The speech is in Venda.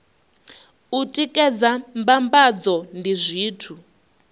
u tikedza mbambadzo ndi zwithu